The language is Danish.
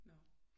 Nåh